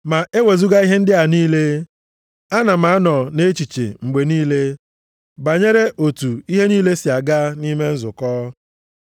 Ma e wezuga ihe ndị a niile, ana m anọ nʼechiche mgbe niile banyere otu ihe niile si aga nʼime nzukọ.